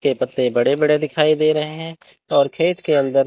इसके पत्ते बड़े बड़े दिखाई दे रहे हैं और खेत के अंदर--